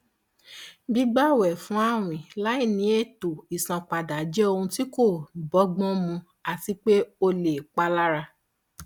gbígbawẹfún àwìn láìní ètò ìsanpadà jẹ ohun tí kò bọgbọn mu àti pé ó lè palára